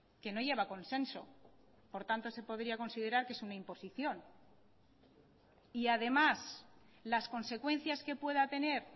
que no lleva consenso por tanto se podría considerar que es una imposición y además las consecuencias que pueda tener